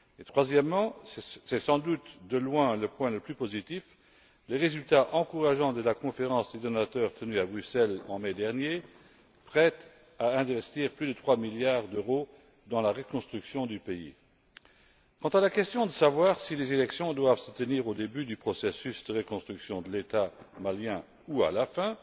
Troisièmement, et c'est sans doute de loin le point le plus positif le résultat encourageant de la conférence des donateurs tenue à Bruxelles en mai dernier, prête à investir plus de 3 milliards d'euro dans la reconstruction du pays. Quant à la question de savoir si les élections doivent se tenir au début du processus de reconstruction de l'État malien ou à la fin,